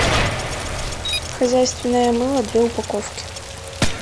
хозяйственное мыло две упаковки